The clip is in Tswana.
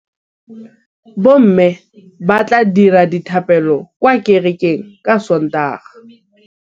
Bommê ba tla dira dithapêlô kwa kerekeng ka Sontaga.